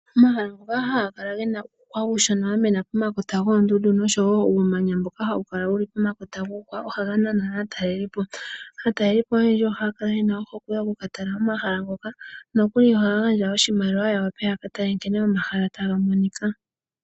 Omahala ngoka haga kala gena uuhwa uushona wa mena pomakota goondundu nosho woo uumanya mboka hawu kala wuli pomakota guuhwa . Ohaga nana aatalelipo. Aatalelipo oyendji ohaya kala yena ohokwe yoku talelapo omahala ngoka . Ohaya gandja oshimaliwa yaka tale omahala ngene taga monika.